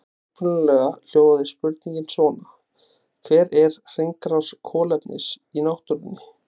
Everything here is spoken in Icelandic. Upprunalega hljóðaði spurningin svona: Hver er hringrás kolefnis í náttúrunni?